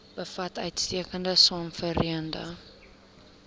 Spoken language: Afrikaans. bevat uitstekende swamwerende